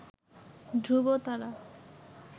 ধ্রুবতারা